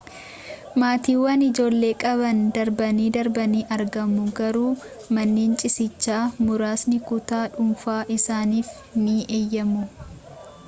maatiiwwan ijoollee qaban darbanii darbanii argamu garuu manneen ciisichaa muraasni kutaa dhuunfaa isaaniif ni eeyyamu